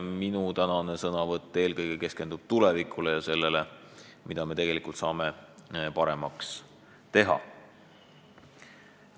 Minu tänane sõnavõtt keskendub eelkõige tulevikule ja sellele, mida me saame paremaks teha.